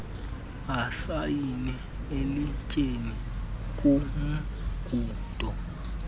asayine elityeni kumngundo